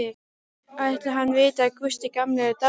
Ætli hann viti að Gústi gamli er dáinn?